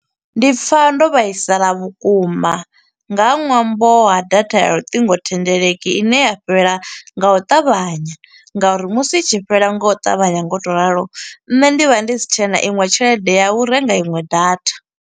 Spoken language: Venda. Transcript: Ndi pfa ndo vhaisala vhukuma, nga ṅwambo ha data ya luṱingothendeleki ine ya fhela nga u ṱavhanya, nga uri musi i tshi fhela nga u ṱavhanya nga u to ralo, nṋe ndi vha ndi si tshena iṅwe tshelede ya u renga iṅwe data.